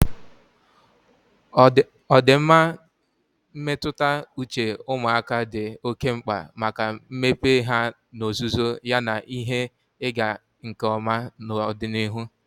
Ọdịmma mmetụta uche ụmụaka dị oke mkpa maka mmepe ha n'ozuzu yana ihe ịga nke ọma n'ọdịnihu.